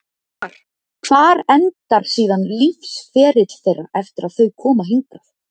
Una: Og hvar, hvar endar síðan lífsferill þeirra eftir að þau koma hingað?